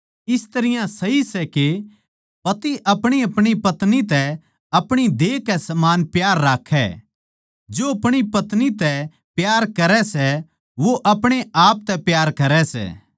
इस तरियां सही सै के पति अपणीअपणी पत्नी तै अपणी देह कै समान प्यार राक्खै जो अपणी पत्नी तै प्यार करै सै वो अपणे आप तै प्यार करै सै